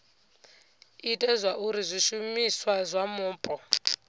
ite zwauri zwishumiswa zwa mupo